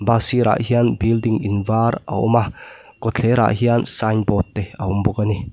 bus sirah hian building in var a awm a kawtthlerah hian signboard te a awm bawk a ni.